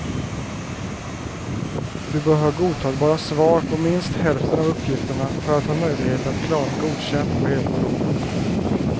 Du bör ha godtagbara svar på minst hälften av uppgifterna för att ha möjlighet att klara godkänd på hela provet.